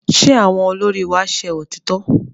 Ṣé àwọn olórí wa ṣẹ òtítọ́?